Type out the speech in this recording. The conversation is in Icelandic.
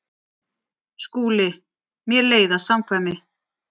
SKÚLI: Mér leiðast samkvæmi.